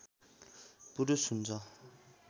पुरुष हुन्छ